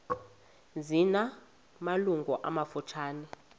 zina malungu amafutshane